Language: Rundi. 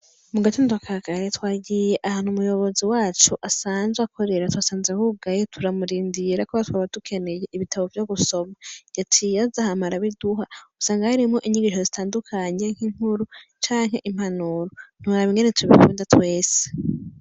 Mugatondo ka kare twagiye ahantu umuyobozi wacu asanzwe akorera twansaze hugaye turamurindira kubera twari dukeneye ibitabo vyo gusoma yaciye aza hama arabiduha usanga harimwo inkuru zitandukanye nk' inkuru canke impanuro ntiworaba ingene tubikunda twese.